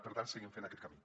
per tant seguim fent aquest camí